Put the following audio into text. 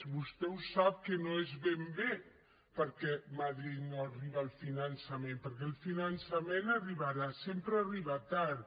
vostè ho sap que no és ben bé perquè de madrid no arriba el finançament perquè el finançament arribarà sempre arriba tard